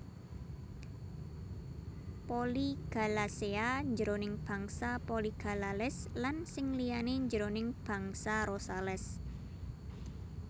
Polygalaceae jroning bangsa Polygalales lan sing liyané jroning bangsa Rosales